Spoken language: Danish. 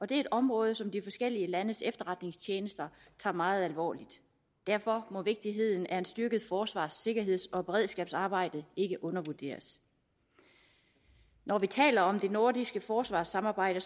det er et område som de forskellige landes efterretningstjenester tager meget alvorligt derfor må vigtigheden af et styrket forsvars sikkerheds og beredskabsarbejde ikke undervurderes når vi taler om det nordiske forsvarssamarbejde